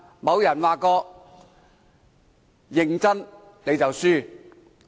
有人說過：認真你就輸了。